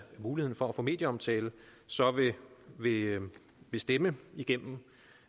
muligheden for at få medieomtale vil have stemt igennem